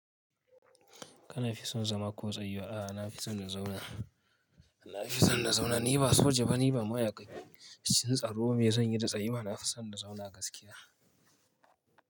Kana fi son zama ko tsayu? A'a, na fi son na zauna. Na fi son na zauna. Ni ba soja ba, ni ba ma'aikacin tsaro ba ne, zan yi da tsayiwa. Na fi son na zauna gaskiya.